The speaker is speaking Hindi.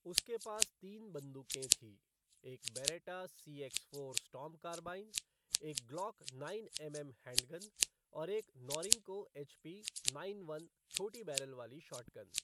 उसके पास तीन बंदूकें थीं, एक Beretta C X four Storm carbine, एक ग्लॉक नाइन एमएम हैंडगन, और एक नॉरिंको एचपी नाइन वन छोटी बैरल वाली शॉटगन।